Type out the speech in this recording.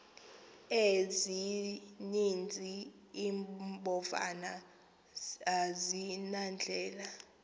ezininzi iimbovane azinandlela